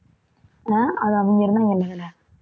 அஹ் அது அவங்க